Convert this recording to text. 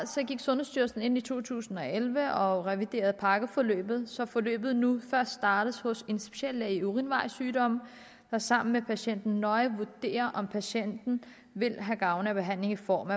gik sundhedsstyrelsen ind i to tusind og elleve og reviderede pakkeforløbet så forløbet nu først startes hos en speciallæge i urinvejssygdomme der sammen med patienten nøje vurderer om patienten vil have gavn af behandlingen og